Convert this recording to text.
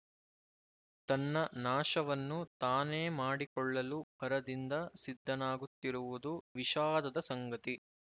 ತನ್ನ ನಾಶವನ್ನು ತಾನೇ ಮಾಡಿಕೊಳ್ಳಲು ಭರದಿಂದ ಸಿದ್ಧನಾಗುತ್ತಿರುವುದು ವಿಷಾದದ ಸಂಗತಿ